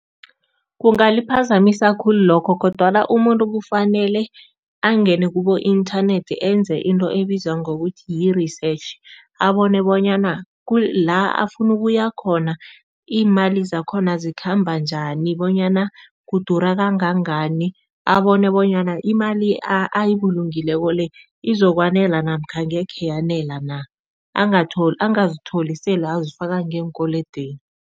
Kungaliphazamisa khulu lokho kodwana umuntu kufanele angene kubo-inthanethi enze into ebizwa ngokuthi yi-research, abone bonyana la afuna ukuya khona, iimali zakhona zikhamba njani bonyana kudura kangangani, abone bonyana imali ayibulungileko le izokwanela namkha angekhe yanela na, angazitholi sele azifaka ngeenkolodweni.